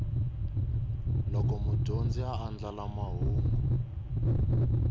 loko mudyondzi a andlala mahungu